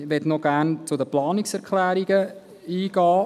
Ich möchte gerne noch auf die Planungserklärungen eingehen.